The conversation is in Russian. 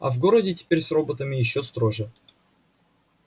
а в городе теперь с роботами ещё строже